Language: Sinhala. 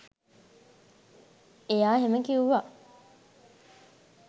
එයා එහෙම කිව්ව